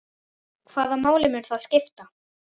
Hvaða máli mun það skipta?